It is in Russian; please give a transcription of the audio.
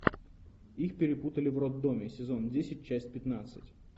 их перепутали в роддоме сезон десять часть пятнадцать